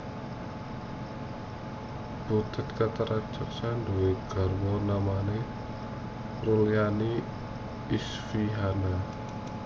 Butet Kertaradjasa duwé garwa namane Rulyani Isfihana